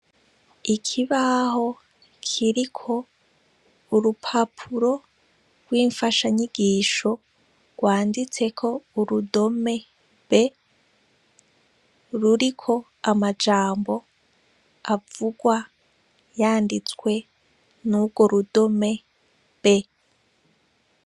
Ikibaho kiriko urupapuro rwimfashanyigisho rwanditseko urudome b ruriko amajambo avugwa yanditwse n' urwo rudome b